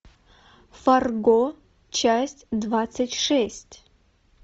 фарго часть двадцать шесть